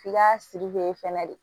F'i ka fɛnɛ de